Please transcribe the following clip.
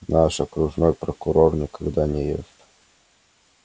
наш окружной прокурор никогда не ест